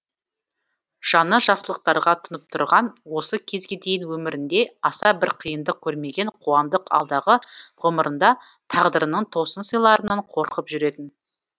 жаны жақсылықтарға тұнып тұрған осы кезге дейін өмірінде аса бір қиындық көрмеген қуандық алдағы ғұмырында тағдырының тосын сыйларынан қорқып жүретін